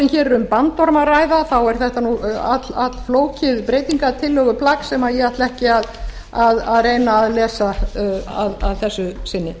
hér er um bandorm að ræða er þetta allflókið breytingartillöguplagg sem ég ætla ekki að reyna að lesa að þessu sinni